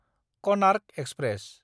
Konark express